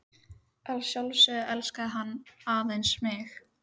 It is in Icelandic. Að sjálfsögðu elskaði hann aðeins mig.